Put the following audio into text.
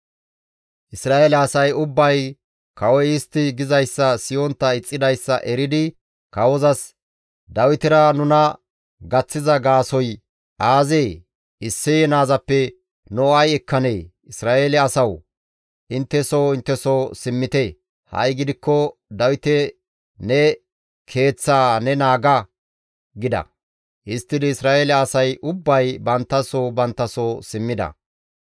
Isra7eele asay ubbay kawoy istti gizayssa siyontta ixxidayssa eridi kawozas, «Dawitera nuna gaththiza gaasoykka aazee? Isseye naazappe nu ay ekkanee! Isra7eele asawu! Intte soo intte soo simmite! Ha7i gidikko Dawite ne keeththaa ne naaga!» gida. Histtidi Isra7eele asay ubbay bantta soo bantta soo simmida.